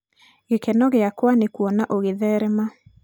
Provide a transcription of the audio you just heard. gikeno gĩakwa nĩ kuona ũgĩtherema.